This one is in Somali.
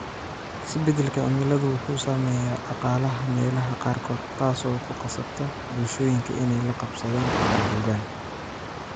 Isbeddelka cimiladu wuxuu saameeyaa dhaqaalaha meelaha qaarkood, taasoo ku qasabta bulshooyinka inay la qabsadaan ama guuraan.